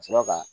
Ka sɔrɔ ka